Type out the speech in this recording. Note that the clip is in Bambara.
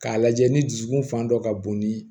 K'a lajɛ ni dusukun fan dɔ ka bon ni